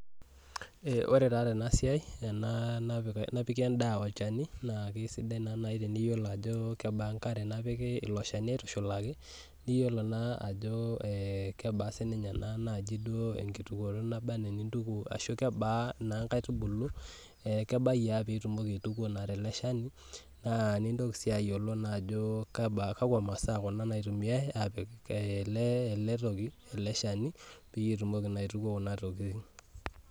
Wore taa tenasiai, tena napiki endaa olchani naa kaisidai naa nai teniyiolo ajo kebaa enkare napiki ilo shani aitushulaki, niyiolo naa ajo eh kebaa sininye ena naaji duo enkitukoto naba enaa nintuku ashu kebaa naa inkaitubulu, eh kebai aa pee itumoki aituku naa tele shani, naa nintoki sii ayiolo naa ajo ajo kebaa , kakwa masaa kuna naitumiyai aapik ele toki ele shani pee itumoki naa aituku kuna tokitin.